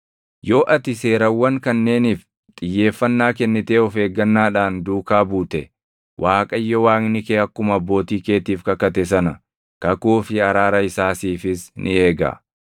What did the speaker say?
Yoo ati seerawwan kanneeniif xiyyeeffannaa kennitee of eeggannaadhaan duukaa buute, Waaqayyo Waaqni kee akkuma abbootii keetiif kakate sana kakuu fi araara isaa siifis ni eega.